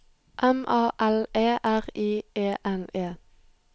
M A L E R I E N E